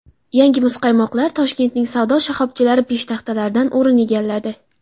Yangi muzqaymoqlar Toshkentning savdo shoxobchalari peshtaxtalaridan o‘rin egalladi.